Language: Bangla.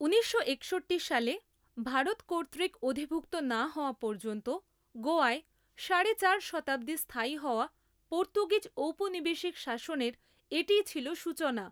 ঊনিশশো একষট্টি সালে ভারত কর্তৃক অধিভুক্ত না হওয়া পর্যন্ত গোয়ায় সাড়ে চার শতাব্দী স্থায়ী হওয়া পর্তুগিজ ঔপনিবেশিক শাসনের এটি ছিল সূচনা।